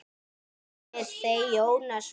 Synir þeirra, Jónas og